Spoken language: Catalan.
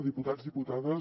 diputats diputades